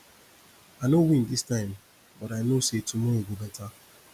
i no win dis time but i know say tomorrow go beta